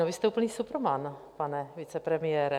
No, vy jste úplný superman, pane vicepremiére.